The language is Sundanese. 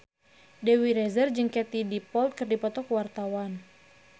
Dewi Rezer jeung Katie Dippold keur dipoto ku wartawan